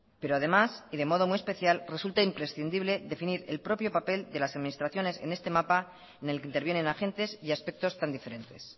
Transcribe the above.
pero además y de modo muy especial resulta imprescindible definir el propio papel de las administraciones en este mapa en el que intervienen agentes y aspectos tan diferentes